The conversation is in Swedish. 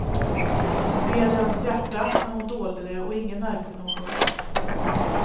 Det sved i hennes hjärta, men hon dolde det och ingen märkte något.